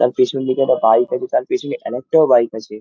তার পেছন দিকে একটা বাইক আছে তার পেছনে আর একটাও বাইক আছে।